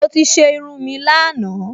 Mo ti ṣe irun mi lánàá